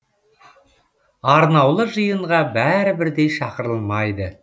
арнаулы жиынға бәрі бірдей шақырылмайды